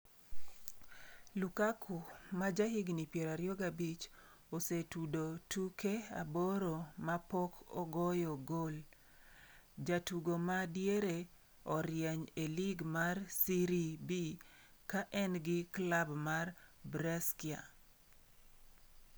Lukaku ma jahigni 25 osetudo tuke aboro ma pok ogoyo gol. Jatugo ma diere orieny e lig mar Serie B ka en gi klab mar Brescia.